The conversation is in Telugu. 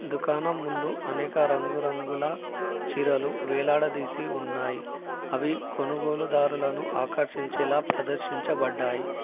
దుకాణం ముందు అనేక రంగురంగుల చీరలు వేలాడదీసి ఉన్నాయి అవి కొనుగోలుదారులను ఆకర్షించేలా ప్రదర్శించబడ్డాయి.